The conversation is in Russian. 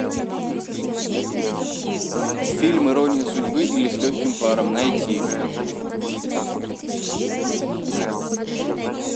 фильм ирония судьбы или с легким паром найти